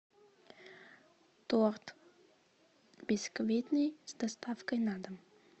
торт бисквитный с доставкой на дом